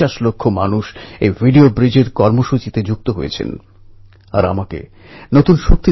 লোকমান্য তিলকের উদ্যোগেই প্রথম সার্বজনীন গণেশ উৎসব উদ্যাপন শুরু হয়েছিল